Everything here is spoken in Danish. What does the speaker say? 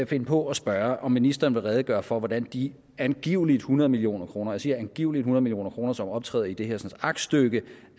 finde på at spørge om ministeren vil redegøre for hvordan de angiveligt hundrede million kroner og jeg siger angiveligt hundrede million kroner som optræder i det hersens aktstykke